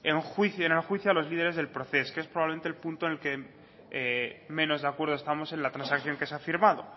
en juicio en el juicio a los líderes del proces que es probablemente el punto en que menos de acuerdo estamos en la transacción que se ha firmado